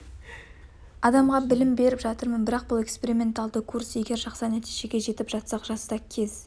адамға білім беріп жатырмын бірақ бұл эксперименталды курс егер жақсы нәтижеге жетіп жатсақ жазда кез